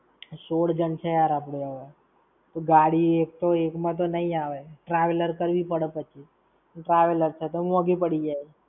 સોળ જણ છે યાર આપણે હવે! તો ગાડી એક તો એક માં તો નઈ આવે! Traveller કરવી પડે પછી. Traveller છે તો મોંઘી પડી જાય.